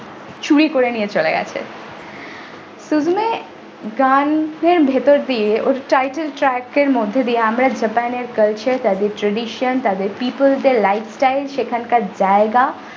চুরি করে নিয়ে চলে গেছে sujeme গানের ভিতর দিয়ে ওর title track এর মধ্যে দিয়ে আমরা japan এর culture তাদের tradition তাদের people দের life style সেখানকার জায়গা।